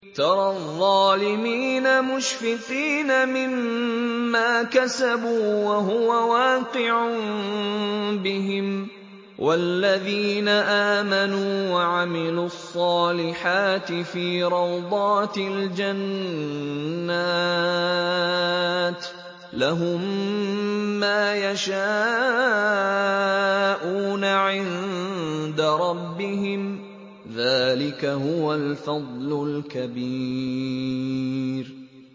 تَرَى الظَّالِمِينَ مُشْفِقِينَ مِمَّا كَسَبُوا وَهُوَ وَاقِعٌ بِهِمْ ۗ وَالَّذِينَ آمَنُوا وَعَمِلُوا الصَّالِحَاتِ فِي رَوْضَاتِ الْجَنَّاتِ ۖ لَهُم مَّا يَشَاءُونَ عِندَ رَبِّهِمْ ۚ ذَٰلِكَ هُوَ الْفَضْلُ الْكَبِيرُ